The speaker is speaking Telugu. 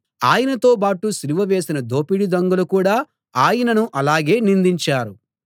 ఆయనతోబాటు సిలువ వేసిన దోపిడీ దొంగలు కూడా ఆయనను అలాగే నిందించారు